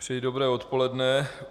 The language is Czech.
Přeji dobré odpoledne.